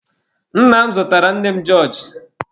Nna m zụtara nne m jọọjị.